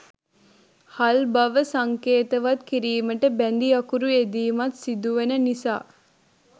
හල්බව සංකේතවත් කිරීමට බැඳි අකුරු යෙදීමත් සිදුවන නිසා